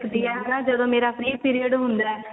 ਹੁੰਦੀ ਆ ਜਾਂ ਜਦੋਂ ਮੇਰਾfree period ਹੁੰਦਾ ਏ